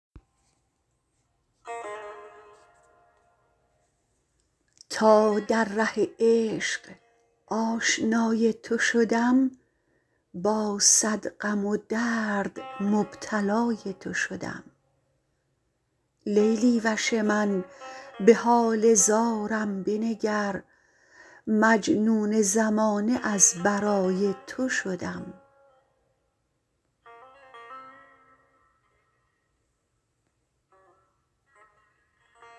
تا در ره عشق آشنای تو شدم با صد غم و درد مبتلای تو شدم لیلی وش من به حال زارم بنگر مجنون زمانه از برای تو شدم